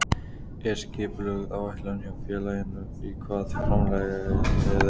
Er skipulögð áætlun hjá félaginu í hvað framlagið fer?